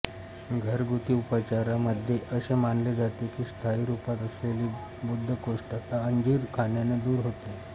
घरगुती उपचारा मध्ये असे मानले जाते की स्थाई रूपात असलेली बद्धकोष्ठता अंजीर खाण्याने दूर होते